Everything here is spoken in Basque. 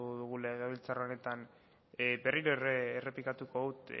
dugu legebiltzar honetan berriro errepikatuko dut